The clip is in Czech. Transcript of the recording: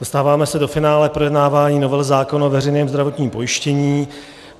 Dostáváme se do finále projednávání novely zákona o veřejném zdravotním pojištění.